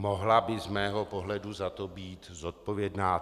Mohla by z mého pohledu za to být zodpovědná.